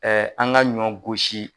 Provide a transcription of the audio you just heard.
Ɛɛ an ga ɲɔ gosi